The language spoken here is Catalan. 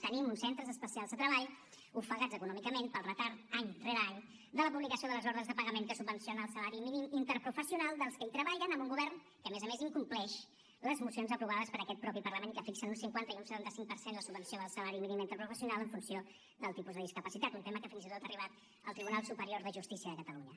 tenim uns centres especials de treball ofegats econòmicament pel retard any rere any de la publicació de les ordres de pagament que subvenciona el salari mínim interprofessional dels que hi treballen amb un govern que a més a més incompleix les mocions aprovades per aquest mateix parlament i que fixen en un cincuenta i un setenta cinco per cent la subvenció del salari mínim interprofessional en funció del tipus de discapacitat un tema que fins i tot ha arribat al tribunal superior de justícia de catalunya